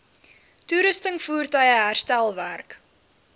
toerusting voertuie herstelwerk